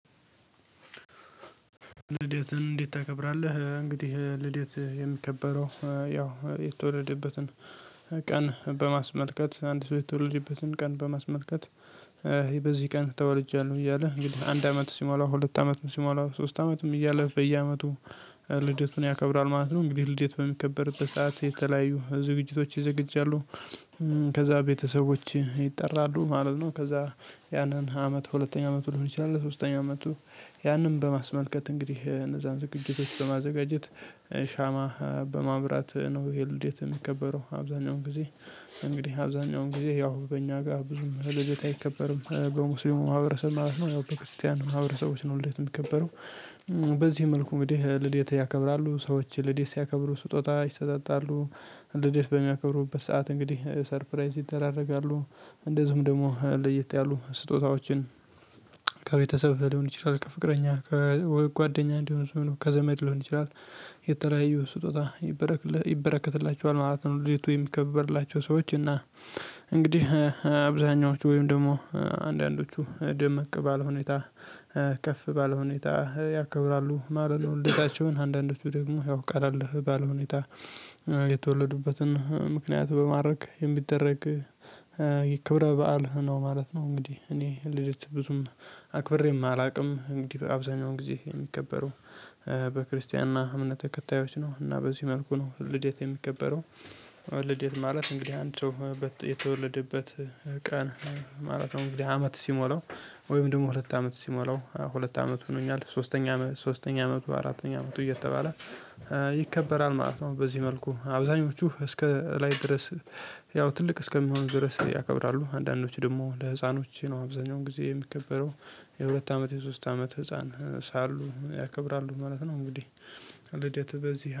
ልደትን እንዴት ታከብራለህ? እንግዲህ ልደት የሚከበረው ያው የተወለደበትን ቀን በማስመልከት አንድ ሰው የተወለደበትን ቀን በማስመልከት በዚህ ቀን ተወልጃለሁ እያለ እንግዲህ አንድ አመት ሲሞላ ሁለት አመት ሲሞላ ሶስት አመትም እያለ በየአመቱ ልደቱን ያከብራል ማለት ነው። እንግዲህ ልደቱ በሚከበር በሰአት የተለያዩ ዝግጅቶች ይዘግጃሉ። ከዛ ቤተሰቦች ይጠራሉ ማለት ነው። ከዛ ያንን አመት ሁለተኛ አመት ሊሆን ይችላል ለሶስተኛ አመቱ ያንን በማስመልከት እንግዲህ እነዛን ዝግጅቶች በማዘጋጀት ሻማ በማብራት ነው ይሄ ልድት የሚከበረው አብዛኛውን ጊዜ እንግዲህ አብዛኛውን ጊዜ ያው በእኛ ጋር ብዙም ድርጅት አይከበርም በሙስሊሙ ማህበረሰብ ማለት ነው ያው በክርስቲያን ማህበረሰቦች ነው ልደት የሚከበረው። በዚህ መልኩ እንግዲህ ልደት ያከብራሉ ሰዎች ልዴት ሲያከብሩ ስጦታ ይሰጠጣሉ። ልዴት በሚያከብሩበት ሰዓት እንግዲህ ሰርፕራይዝ ይደራረጋሉ እንደዚሁም ደግሞ ለየት ያሉ ስጦታዎችን ከቤተሰብ ሊሆን ይችላል ከፍቅረኛ ከወይ ጓደኛ እንዲሆን ሰው ነው ከዘመድ ሊሆን ይችላል። የተለያዩ ስጦታ ይበረከትላቹዋል ማለት ነው የት የሚከበርላቸው ሰዎች እና እንግዲህ አብዛኞቹ ወይም ደግሞ አንዳንዶቹ ደምቅ ባለ ሁኔታ ከፍ ባለ ሁኔታ ያከብራሉ ማለት ነው። ልጃቸውን አንዳንዶቹ ደግሞ ያው ቀለል ባለ ሁኔታ የተወለዱበትን ምክንያት በማድረግ የሚደረግ የክብረ በዓል ነው ማለት ነው እንግዲህ እኔ ልደት ብዙም አክብሬም አላውቅም። እንግዲህ አብዛኛው ጊዜ የሚከበረው በክርስቲያና እምነት ተከታዮች ነው እና በዚህ መልኩ ነው ልዴት የሚከበረው ልደት ማለት እንግዲህ አንተው የተወለደበት ቀን ማለት ነው። እንግዲህ አመት ሲሞላው ወይም ደግሞ ሁለት አመት ሲሞላው ሁለት አመት ሆኖኛል ሶስተኛ ሶስተኛ አመቱ አራተኛ አመቱ እየተባለ ይከበራል ማለት ነው። በዚህ መልኩ አብዛኞቹ እስከ ላይ ድረስ ያው ትልቅ እስከሚሆን ድረስ ያከብራሉ አንዳንዶች ደግሞ ለህፃኖች ነው አብዛኛውን ጊዜ የሚከበረው የሁለት አመት የሶስት አመት ህፃን ሳሉ ያከብራሉ ማለት ነው። እንግዲህ እንዴት በዚህ